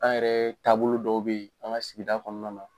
An yɛrɛ taabolo dɔw beyi an ka sigida kɔnɔna na.